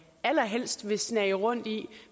allerhelst vil snage rundt i